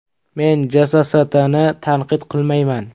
Men JSSTni tanqid qilmayman.